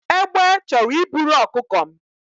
Egbe chọrọ iburu ọkụkọ m